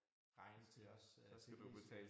Regning til os øh lige